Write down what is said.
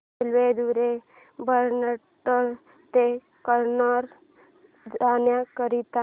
railway द्वारे भटकळ ते कन्नूर जाण्या करीता